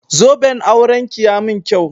Zoben auranki ya mun kyau.